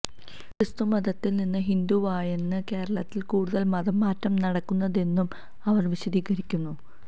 ക്രിസ്തു മതത്തിൽ നിന്ന് ഹിന്ദുവായണ് കേരളത്തിൽ കൂടുതൽ മതം മാറ്റം നടക്കുന്നതെന്നും അവർ വിശദീകരിക്കുന്നു